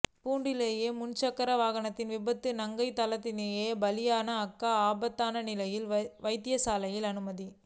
பூண்டுலோயா முச்சக்கரவண்டி விபத்தில் தங்கை ஸ்தலத்திலேயே பலி அக்கா ஆபத்தான நிலையில் வைத்தியசாலையில் அனுமதி